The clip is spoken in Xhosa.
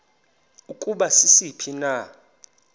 ukuba sisiphi na